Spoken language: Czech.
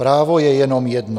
Právo je jenom jedno.